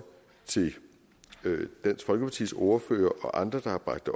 til dansk folkepartis ordfører og andre der har bragt